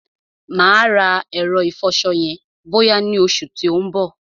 Mà á rà ẹ̀rọ ìfọṣọ yẹn bọ́yá ni oṣù tí ó ń bọ̀.